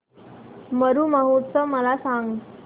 मरु महोत्सव मला सांग